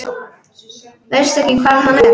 Veistu ekki hvar hann er?